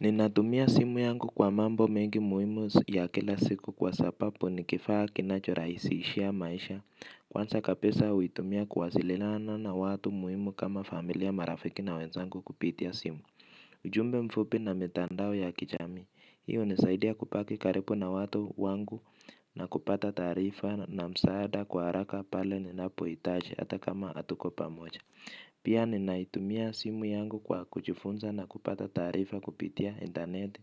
Ninatumia simu yangu kwa mambo mengi muhimu ya kila siku kwa sapapu nikifaa kinachoraisi shia maisha. Kwansa ka pisa uitumia kuwa zililana na watu muhimu kama familia marafiki na wenzangu kupitia simu. Ujumbe mfupi na mitandao ya kijamii. Hii unisaidia kupaki karipu na watu wangu na kupata taarifa na msaada kwa haraka pale nina pohitaji ata kama atuko pamoja. Pia ninaitumia simu yangu kwa kujifunza na kupata taarifa kupitia intanet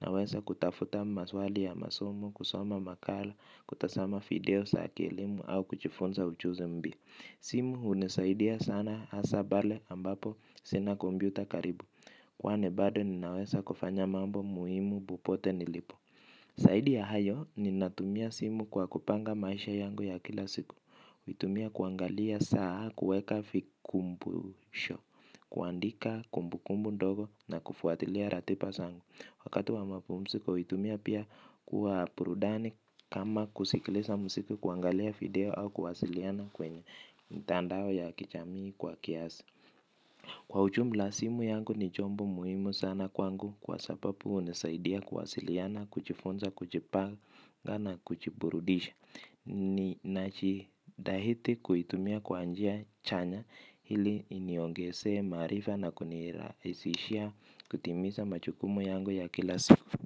naweza kutafuta maswali ya masomo kusoma makala kutazama video za kielimu au kujifunza ujuzi mbya. Simu unisaidia sana asa bale ambapo sina kombyuta karibu, kwa nibado ninaweza kufanya mambo muhimu bupote nilipo. Zaidi ya hayo ninatumia simu kwa kupanga maisha yangu ya kila siku kuitumia kuangalia saa kuweka vikumbu sho, kuandika kumbu kumbu ndogo na kufuatilia ratipa sangu. Wakati wa mapumsiko, huitumia pia kuwa purudani kama kusikilisa msiki kuangalia video au kuwasiliana kwenye mitandao ya kichamii kwa kiasi. Kwa ujum la simu yangu ni chombo muhimu sana kwangu kwa sababu unisaidia kuwasiliana, kujifunza, kujipanga na kujiburudisha. Ni nachi dhahiti kuitumia kwanjia chanya hili iniongesee maarifa na kunirahisishia kutimiza majukumu yangu ya kila siku.